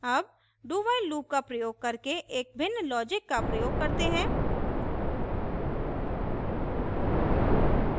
अब dowhile loop का प्रयोग करके एक भिन्न logic का प्रयोग करते हैं